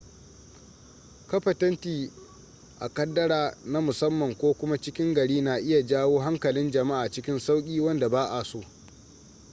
kafa tenti a kaddara na musamman ko kuma cikin gari na iya jawo hankalin jama'a cikin sauki wanda ba'a so